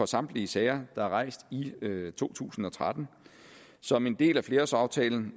samtlige sager der er rejst i to tusind og tretten som en del af flerårsaftalen